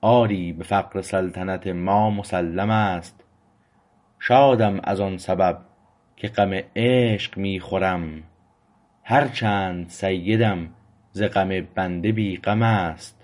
آری به فقر سلطنت ما مسلم است شادم از آن سبب که غم عشق می خورم هر چند سیدم ز غم بنده بی غم است